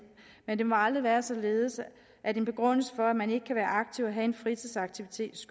men det må aldrig være således at en begrundelse for at man ikke kan være aktiv og have en fritidsaktivitet